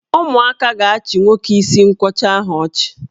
Ụmụaka ga-achị nwoke isi nkwọcha ahụ ọchị.